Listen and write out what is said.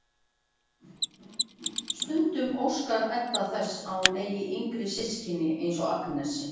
Stundum óskar Edda þess að hún ætti yngri systkini eins og Agnes.